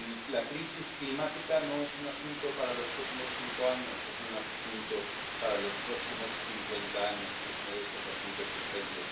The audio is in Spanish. La crisis climática no es un asunto para los próximos cinco años, es un asunto para los próximos cincuenta años y es uno de estos asuntos urgentes.